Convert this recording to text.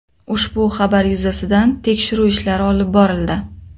Ushbu xabar yuzasidan tekshiruv ishlari olib borildi.